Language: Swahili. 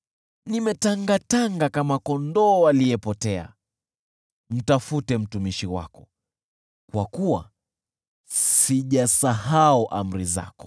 Nimetangatanga kama kondoo aliyepotea. Mtafute mtumishi wako, kwa kuwa sijasahau amri zako.